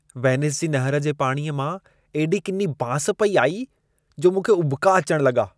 Venice जी नहिर जे पाणीअ मां एॾी किनी बांस पेई आई, जो मूंखे उॿिका अचण लॻा।